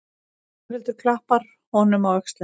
Þórhildur klappar honum á öxlina.